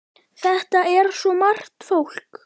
Þetta er svo margt fólk.